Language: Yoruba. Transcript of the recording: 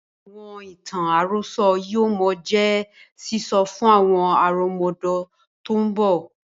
Àwọn ìtàn àròsọ̀ yìí ó mọ jẹ́ sísọ fún àwọn àrọmọdọ́mọ tòun bọ̀